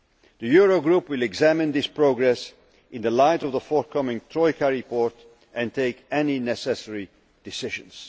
The Eurogroup will examine this progress in light of the forthcoming troika report and take any necessary decisions.